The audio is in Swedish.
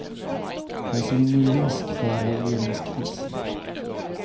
Jag ser ingen risk för regeringskris.